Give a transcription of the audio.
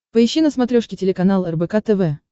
поищи на смотрешке телеканал рбк тв